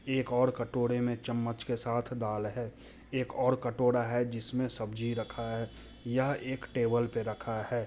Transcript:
ये एक और कटोरे में चम्मच के साथ दाल है एक और कटोरा है जिसमे सब्जी रखा है यहाँ एक टेबल पे रखा है।